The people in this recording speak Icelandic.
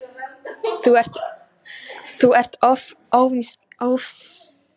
Þú ert of ósínkur á fé.